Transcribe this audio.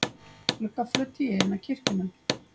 gluggaflöt í eina kirkjuna.